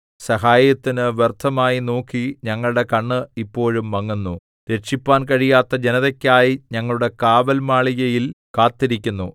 സഹായത്തിന് വ്യർത്ഥമായി നോക്കി ഞങ്ങളുടെ കണ്ണ് ഇപ്പോഴും മങ്ങുന്നു രക്ഷിപ്പാൻ കഴിയാത്ത ജനതക്കായി ഞങ്ങളുടെ കാവൽമാളികയിൽ കാത്തിരിക്കുന്നു